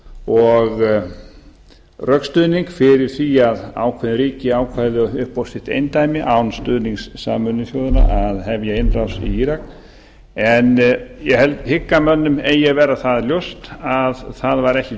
og rökstuðning fyrir því að ákveðin ríki ákvæðu upp á sitt eindæmi án stuðnings sameinuðu þjóðanna að hefja innrás í írak en ég hygg að mönnum eigi að vera það ljóst að það var ekki